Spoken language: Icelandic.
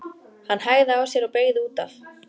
Hann hægði á sér og beygði út af.